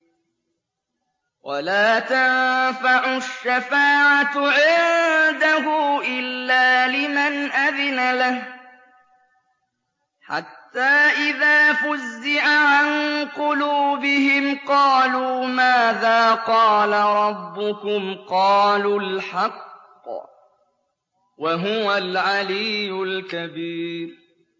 وَلَا تَنفَعُ الشَّفَاعَةُ عِندَهُ إِلَّا لِمَنْ أَذِنَ لَهُ ۚ حَتَّىٰ إِذَا فُزِّعَ عَن قُلُوبِهِمْ قَالُوا مَاذَا قَالَ رَبُّكُمْ ۖ قَالُوا الْحَقَّ ۖ وَهُوَ الْعَلِيُّ الْكَبِيرُ